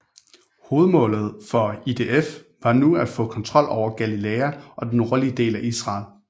Hovedmålet for IDF var nu at få kontrol med Galilæa og den nordlige del af Israel